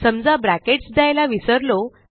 समजा ब्रॅकेट्स द्यायला विसरलो